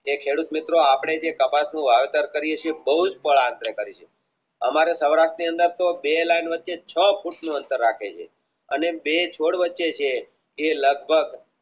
એ ખેડૂત મિત્રો આપણે જે કપાસનું વાવેતર કરીયે છીએ અમારું સૌરાષ્ટ્રની અંદરતો બે લાયન વચ્ચે છ ફૂટ નું અંતર રખાય અને બે છોડ વચ્ચે જે જે લગભગ